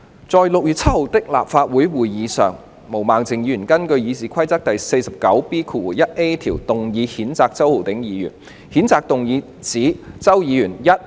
在該年6月7日的立法會會議上，毛孟靜議員根據《議事規則》第 49B 條動議譴責周議員。